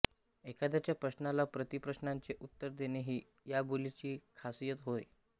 एखाद्याच्या प्रश्नाला प्रति प्रश्नाने उत्तर देणे ही या बोलीची खासियत होय